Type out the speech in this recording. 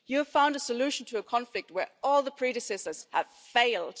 You have found a solution to a conflict where all predecessors have failed.